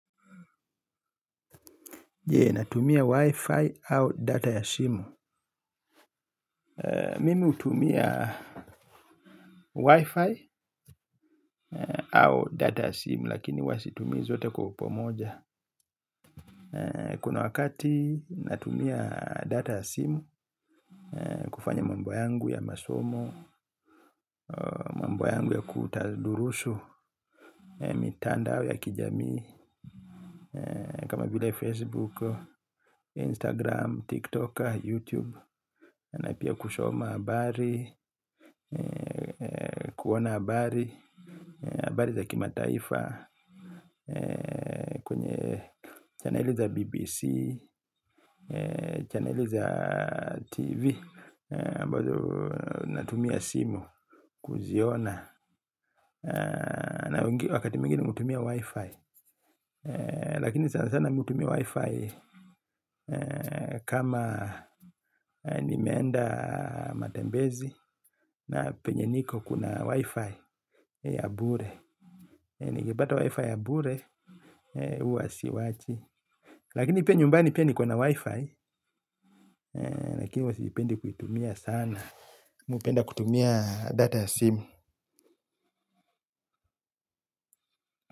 Je, natumia wifi au data ya simu? Mimi hutumia wifi au data ya simu. Lakini huwa situmii zote kwa upamoja kuna wakati natumia data ya simu kufanya mambo yangu ya masomo mambo yangu ya kutadurusu mitandao ya kijamii kama vile Facebook, Instagram, TikToker, Youtube Na pia kusoma habari kuona habari habari za kimataifa kwenye chaneli za bbc channeli za TV ambazo natumia simu Kuziona Na wakati mwingine hutumia wifi. Lakini sana sana mihutumia wifi. Kama ni meenda matembezi na penye niko kuna wifi ya bure. Ningebata wifi ya bure huwa si wachi. Lakini pia nyumbani pia niko na wifi. Lakini huwa siipendi kuitumia sana mihupenda kutumia data simu.